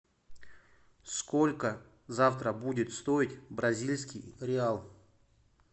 сколько завтра будет стоить бразильский реал